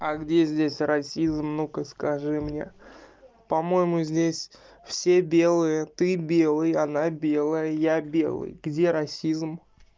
а где здесь расизм ну-ка скажи мне по-моему здесь все белые ты белый она белая он белый где расизм